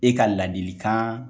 E ka ladili kan